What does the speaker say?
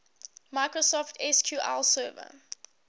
microsoft sql server